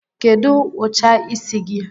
Kedụ ụcha isi gi?